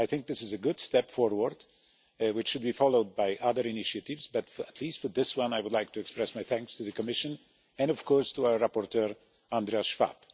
This is a good step forward which should be followed by other initiatives, but for at least for this one I would like to express my thanks to the Commission, and of course to our rapporteur, Andreas Schwab.